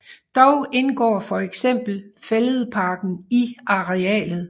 Dog indgår for eksempel Fælledparken i arealet